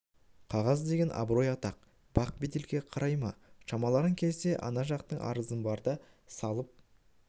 қағаз деген абырой атақ бақ беделге қарай ма шамаларың келсе ана жақтың арызын барды салып